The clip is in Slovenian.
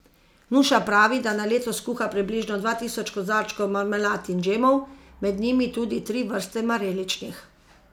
Nuša pravi, da na leto skuha približno dva tisoč kozarčkov marmelad in džemov, med njimi tudi tri vrste mareličnih.